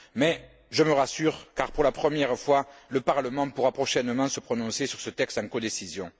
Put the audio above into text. Mais, je me rassure car, pour la première fois, le Parlement pourra prochainement se prononcer sur ce texte en codécision.